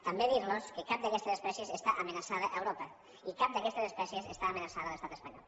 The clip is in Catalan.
també dir los que cap d’aquestes espècies està amenaçada a europa i cap d’aquestes espècies està amenaçada a l’estat espanyol